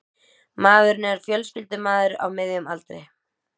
Maðurinn er fjölskyldumaður á miðjum aldri